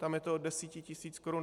Tam je to od 10 tisíc korun.